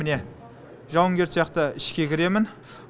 міне жауынгер сияқты ішке кіремін